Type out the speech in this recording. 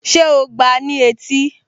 Ṣé o gbáa ní etí?